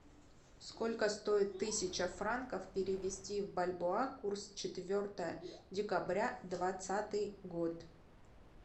сколько стоит тысяча франков перевести в бальбоа курс четвертое декабря двадцатый год